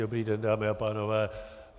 Dobrý den, dámy a pánové.